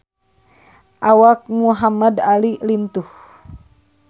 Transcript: Awak Muhamad Ali lintuh